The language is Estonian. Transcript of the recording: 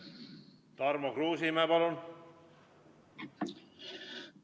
Tarmo Kruusimäe, palun!